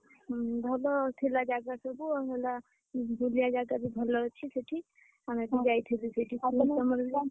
ଭଲ ଥିଲା ଜାଗା ସବୁ ଆଉ ହେଲା ବୁଲିଆ ଜାଗା ବି ଭଲ ଅଛି ସେଠି।